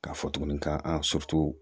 K'a fɔ tuguni ka